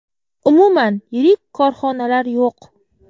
Umuman yirik korxonalar yo‘q.